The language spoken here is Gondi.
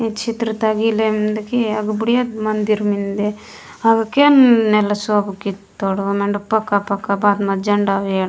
इच्छित्रता गिलंदगी अब बुढ़िया मंदिर मिनदे हमके नेलसो कितोड़ो एंड पका पका बात मझ झंडा वेड --